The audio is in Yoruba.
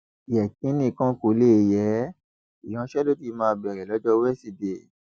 yékénni kan kò lè yé e ìyanṣẹlódì máa bẹrẹ lọjọ wíṣídẹẹ